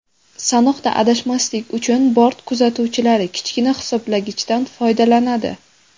Sanoqda adashmaslik uchun bort kuzatuvchilari kichkina hisoblagichdan foydalanadi.